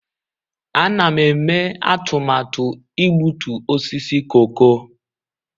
Ana m eme atụmatụ igbutu osisi koko.